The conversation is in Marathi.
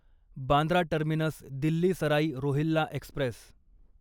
Bandra terminus Delhi Sarai Rohilla Express